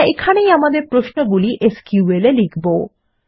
আমরা এখানেই আমাদের প্রশ্নগুলি এসকিউএল এ লিখবো